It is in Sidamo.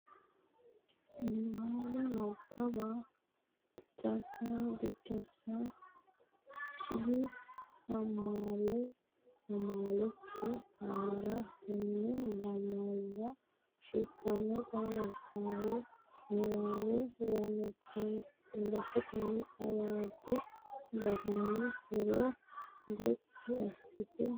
Niwaawe Nabbawa Biddissa kkII AMAlA AMAlkI ArrA Tenne lamalara shiqqinota hasaawu niwaawe ranketenni, xawadu garinni huuro gotti assitine nabbabbe Rosiishsha.